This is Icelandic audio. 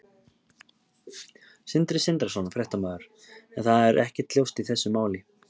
Sindri Sindrason, fréttamaður: En það er ekkert ljóst í þessu máli?